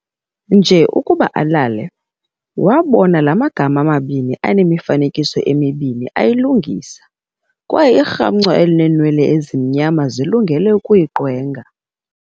Nje ukuba alele, wabona la magama mabini anemifanekiso emibini ayilungisa kwaye irhamncwa elinenwele ezimnyama zilungele ukuyiqwenga.